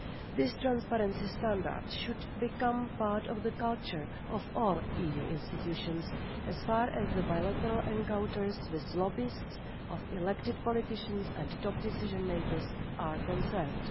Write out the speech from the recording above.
This transparency standard should become part of the culture of all EU institutions, as far as bilateral encounters with lobbyists, elected politicians and top decision-makers are concerned.